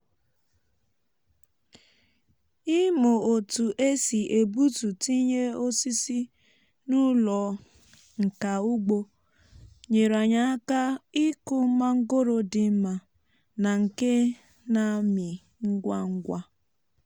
ịmụ otu e si egbutu tinye osisi n'ụlọ nka ugbo nyere anyị aka ikụ mangoro dị mma na nke na-amị ngwa ngwa.